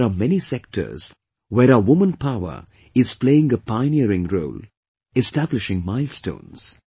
Today there are many sectors where our woman power is playing a pioneering role, establishing milestones